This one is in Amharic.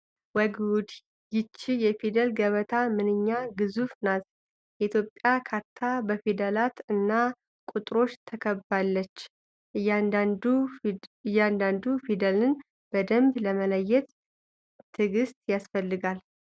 ወይ ጉድ! ይህች የፊደል ገበታ ምንኛ ግዙፍ ናት! የኢትዮጵያ ካርታ በፊደላት እና ቁጥሮች ተከባለች! እያንዳንዱ ፊደልን በደንብ ለመለየት ትዕግስት ያስፈልጋል!